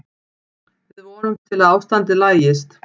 Við vonumst til að ástandið lagist.